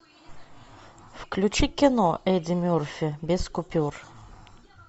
включи кино эдди мерфи без купюр